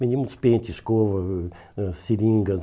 Vendíamos pente, escova, uh ãh seringas.